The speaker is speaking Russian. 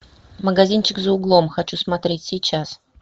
магазинчик за углом хочу смотреть сейчас